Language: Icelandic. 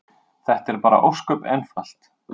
Þetta er bara ósköp einfalt.